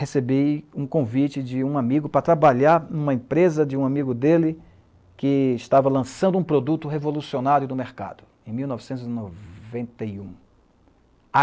recebi um convite de um amigo para trabalhar em uma empresa de um amigo dele, que estava lançando um produto revolucionário no mercado, em mil novecentos e noventa e um.